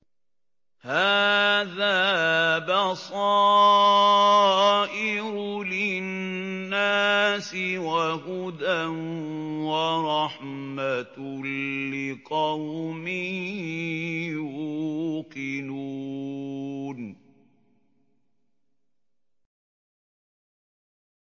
هَٰذَا بَصَائِرُ لِلنَّاسِ وَهُدًى وَرَحْمَةٌ لِّقَوْمٍ يُوقِنُونَ